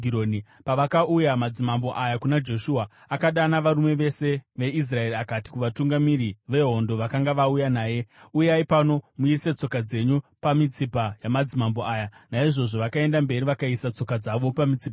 Pavakauya namadzimambo aya kuna Joshua, akadana varume vose veIsraeri akati kuvatungamiri vehondo vakanga vauya naye, “Uyai pano muise tsoka dzenyu pamitsipa yamadzimambo aya.” Naizvozvo vakaenda mberi vakaisa tsoka dzavo pamitsipa yavo.